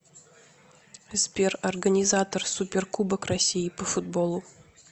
сбер организатор суперкубок россии по футболу